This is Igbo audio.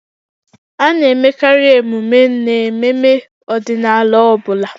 A na-emekarị emume n'ememme ọdịnala ọ bụla